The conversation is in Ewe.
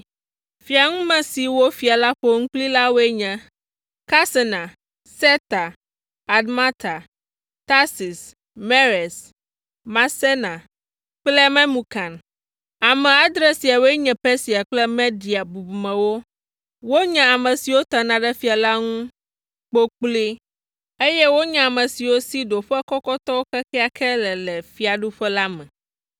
Fiaŋume siwo fia la ƒo nu kplii la woe nye, Karsena, Setar, Admata, Tarsis, Meres, Marsena kple Memukan. Ame adre siawoe nye Persia kple Media bubumewo, wonye ame siwo tena ɖe fia la ŋu kpokploe, eye wonye ame siwo si ɖoƒe kɔkɔtɔwo kekeake le le fiaɖuƒe la me.